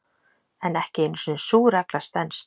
En ekki einu sinni sú regla stenst.